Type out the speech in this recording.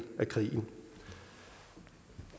af krigen